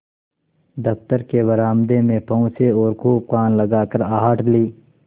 दफ्तर के बरामदे में पहुँचे और खूब कान लगाकर आहट ली